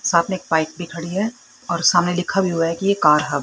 सामने एक बाइक भी खड़ी है और सामने लिखा भी हुआ है कि ए कार हब ।